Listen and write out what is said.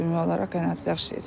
Ümumi olaraq qənaətbəxş idi.